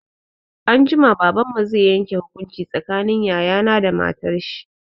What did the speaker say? Anjima, Baban mu zai yanke hukunci tsakanin yaya na da matar shi.